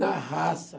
Na raça.